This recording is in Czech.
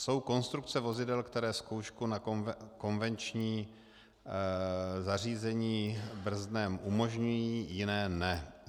Jsou konstrukce vozidel, které zkoušku na konvenční zařízení brzdném umožňují, jiné ne.